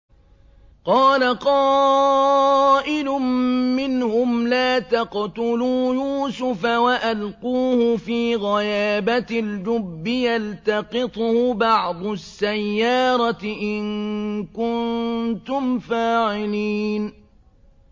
قَالَ قَائِلٌ مِّنْهُمْ لَا تَقْتُلُوا يُوسُفَ وَأَلْقُوهُ فِي غَيَابَتِ الْجُبِّ يَلْتَقِطْهُ بَعْضُ السَّيَّارَةِ إِن كُنتُمْ فَاعِلِينَ